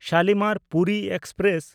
Shalimar Puri express